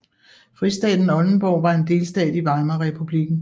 Fristaten Oldenborg var en delstat i Weimarrepublikken